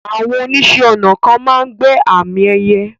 Àwọn oníṣẹ̀-ọnà kan máa n gbẹ́ àmì ẹyẹ̀